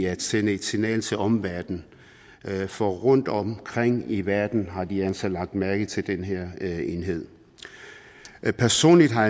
at sende et signal til omverdenen for rundt omkring i verden har de altså lagt mærke til den her enhed personligt har